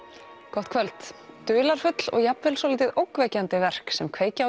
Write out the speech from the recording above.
gott kvöld dularfull og jafnvel svolítið ógnvekjandi verk sem kveikja á